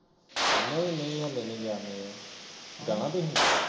ਨਹੀਂ ਨਹੀ ਹਾਲੇ ਨੀ ਗਿਆ ਮੈਂ ਯਾਰ ਜਾਣਾ ਤੁਹੀ